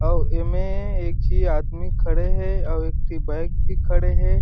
अउ एमे एक झी आदमी खड़े हे और एक ठी बाइक भी खड़े हे।